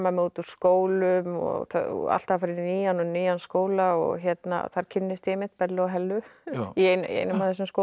út úr skólum og alltaf að fara í nýjan og nýjan skóla og þar kynnist ég einmitt Bellu og Hellu í einum af þessum skólum